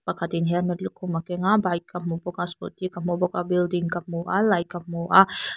pakhat in helmet lukhum a keng a bike ka hmu bawk a scooty ka hmu bawk a building ka hmu a light ka hmu a.